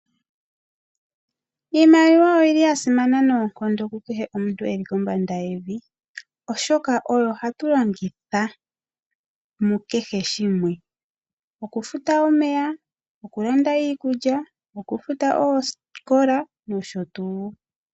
Iimaliwa oyili yasimana noonkondo ku kehe omuntu e li kombanda yevi, oshoka oyo hatu longitha mu kehe shimwe, okufuta omeya, okulanda iikulya, okufuta oosikola nosho tuu.